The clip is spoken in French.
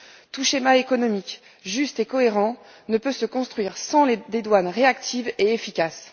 Tout schéma économique juste et cohérent ne peut se construire sans des douanes réactives et efficaces.